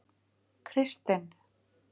Kristinn